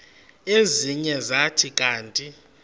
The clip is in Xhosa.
ezinye zathi kanti